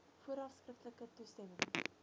vooraf skriftelike toestemming